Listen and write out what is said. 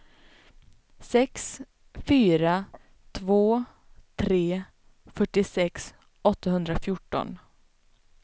sex fyra två tre fyrtiosex åttahundrafjorton